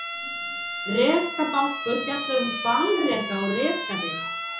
Rekabálkur fjallar um hvalreka og rekavið.